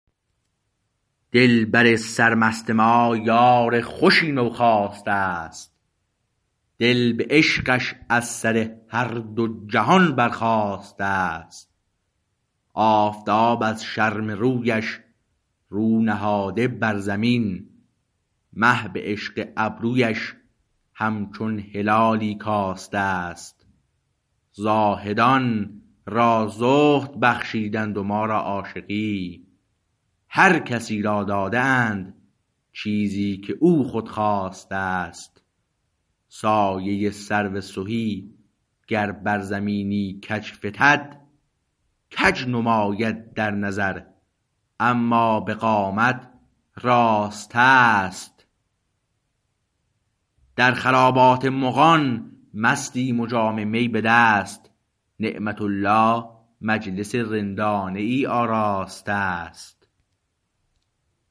دلبر سرمست ما یار خوشی نو خاسته است دل به عشقش از سر هر دو جهان بر خاسته است آفتاب از شرم رویش رو نهاده بر زمین مه به عشق ابرویش همچون هلالی کاسته است زاهدان را زهد بخشیدند و ما را عاشقی هر کسی را داده اند چیزی که او خود خواسته است سایه سرو سهی گر بر زمینی کج فتد کج نماید در نظر اما به قامت راسته است در خرابات مغان مستیم و جام می بدست نعمت الله مجلس رندانه ای آراسته است